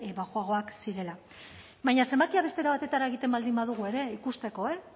baxuagoak zirela baina zenbakiak beste era batera egiten baldin badugu ere ikusteko eh